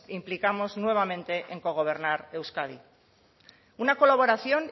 implicamos nuevamente en cogobernar euskadi una colaboración